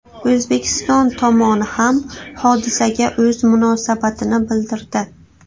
O‘zbekiston tomoni ham hodisaga o‘z munosabatini bildirdi .